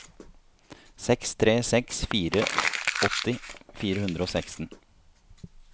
seks tre seks fire åtti fire hundre og seksten